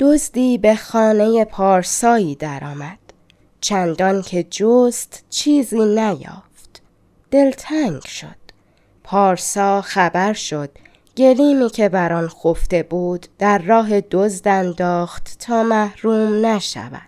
دزدی به خانه پارسایی در آمد چندان که جست چیزی نیافت دلتنگ شد پارسا خبر شد گلیمی که بر آن خفته بود در راه دزد انداخت تا محروم نشود